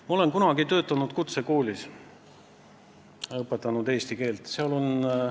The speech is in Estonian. Ma olen kunagi töötanud kutsekoolis, seal eesti keelt õpetanud.